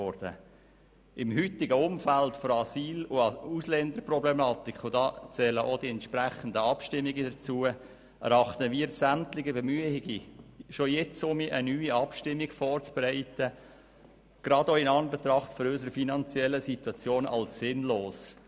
Im heute bestehenden Umfeld der Asyl- und Ausländerproblematik – und dazu gehören auch die entsprechenden Abstimmungen – erachten wir sämtliche Bemühungen, schon jetzt wieder eine neue Abstimmung vorzubereiten, gerade auch in Anbetracht unserer finanziellen Situation als sinnlos.